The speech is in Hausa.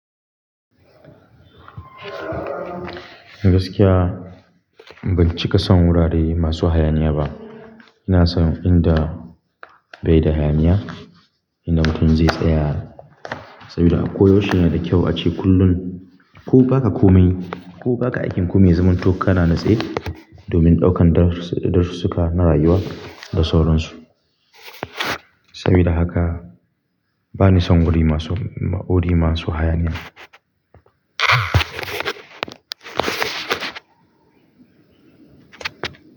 Gaskiya ban cika son wurare masu hayaniya ba. Ina son inda bai da hayaniya, inda mutum zai tsaya. Sabida ako yaushe yana da kyau ace kullum. Ko baka komai, ko baka aikin ku mai ya zamanto kana nitse domin ɗaukan darussuka na rayuwa da sauransu. Sabida haka bani son wuri masu, wuri masu hayaniya.